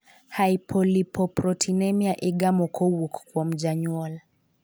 hypolipoproteinemia igamo kowuok kuom janyuol.